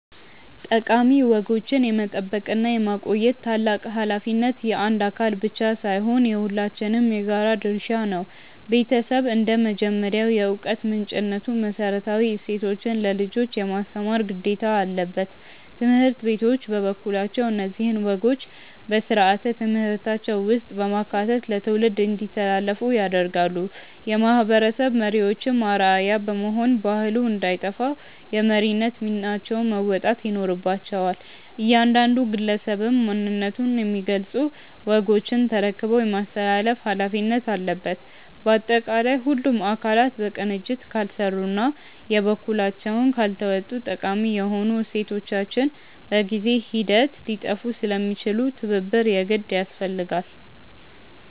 ጠቃሚ ወጎችን የመጠበቅና የማቆየት ታላቅ ኃላፊነት የአንድ አካል ብቻ ሳይሆን የሁላችንም የጋራ ድርሻ ነው። ቤተሰብ እንደ መጀመሪያው የዕውቀት ምንጭነቱ መሰረታዊ እሴቶችን ለልጆች የማስተማር ግዴታ አለበት። ትምህርት ቤቶች በበኩላቸው እነዚህን ወጎች በሥርዓተ ትምህርታቸው ውስጥ በማካተት ለትውልድ እንዲተላለፉ ያደርጋሉ። የማህበረሰብ መሪዎችም አርአያ በመሆን ባህሉ እንዳይጠፋ የመሪነት ሚናቸውን መወጣት ይኖርባቸዋል። እያንዳንዱ ግለሰብም ማንነቱን የሚገልጹ ወጎችን ተረክቦ የማስተላለፍ ኃላፊነት አለበት። ባጠቃላይ ሁሉም አካላት በቅንጅት ካልሰሩና የበኩላቸውን ካልተወጡ ጠቃሚ የሆኑ እሴቶቻችን በጊዜ ሂደት ሊጠፉ ስለሚችሉ ትብብር የግድ ያስፈልጋል።